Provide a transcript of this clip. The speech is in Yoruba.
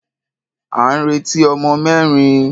À ń retí ọmọ mẹ́rin.